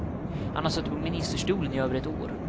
Han har suttit på ministerstolen i över ett år.